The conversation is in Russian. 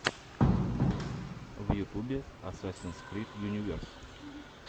в ютубе асасинс крид юниверс